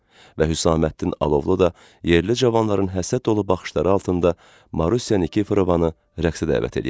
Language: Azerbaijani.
Və Hüsaməddin Alovlu da yerli cavanların həsəd dolu baxışları altında Marusiya Nikiforovvanı rəqsə dəvət eləyəcəkdi.